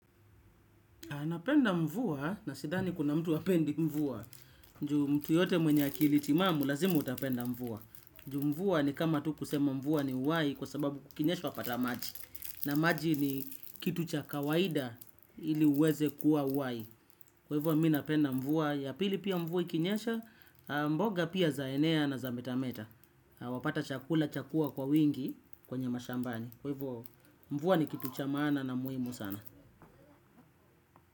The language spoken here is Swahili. Napenda mvua, na sidhani kuna mtu hapendi mvua. Ju mtu yeyote mwenye akili timamu lazima utapenda mvua. Ju mvua ni kama tu kusema mvua ni uwahi kwa sababu kukinyesha wapata maji. Na maji ni kitu cha kawaida ili uweze kuwa uwahi. Kwa hivyo mimi napenda mvua ya pili pia mvua ikinyesha, mboga pia zaenea na zametameta. Wapata chakula chakua kwa wingi kwenye mashambani. Kwa hivyo mvua ni kitu cha maana na muhimu sana.